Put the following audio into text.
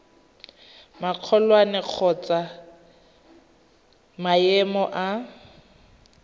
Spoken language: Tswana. magolwane kgotsa wa maemo a